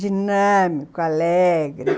Dinâmico, alegre.